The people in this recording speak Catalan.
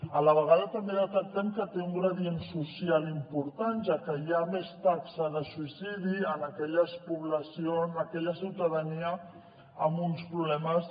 a la vegada també detectem que té un gradient social important ja que hi ha més taxa de suïcidi en aquella població en aquella ciutadania amb uns problemes